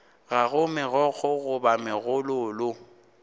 ga go megokgo goba megololo